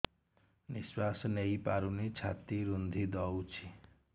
ନିଶ୍ୱାସ ନେଇପାରୁନି ଛାତି ରୁନ୍ଧି ଦଉଛି